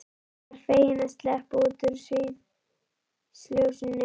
Hann var feginn að sleppa út úr sviðsljósinu.